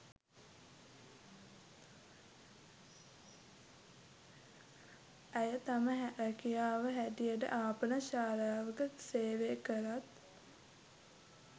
ඇය තම ‍රැකියාව හැටියට ආපනශාලාවක සේවය කලත්